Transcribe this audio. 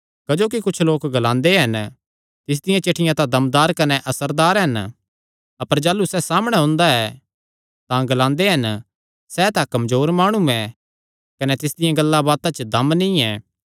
क्जोकि कुच्छ लोक ग्लांदे हन तिसदी चिठ्ठियां तां दमदार कने असरदार हन अपर जाह़लू सैह़ सामणै हुंदा ऐ तां ग्लांदे हन सैह़ तां कमजोर माणु ऐ कने तिसदियां गल्लांबातां च दम नीं ऐ